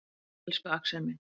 Elsku Axel minn.